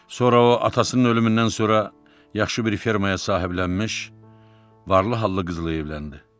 Sonra o atasının ölümündən sonra yaxşı bir fermaya sahiblənmiş, varlı hallı qızlı evləndi.